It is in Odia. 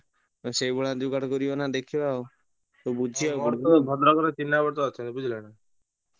ସେଇ ଭଳିଆ ଯୁଗାଡ଼ କରିବ ନା ଦେଖିବା ଆଉ ବୁଝିବାକୁ ପଡିବ ।